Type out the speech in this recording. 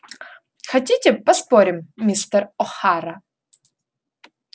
хотите поспорим мистер охара